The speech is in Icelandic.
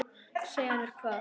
Segja mér hvað?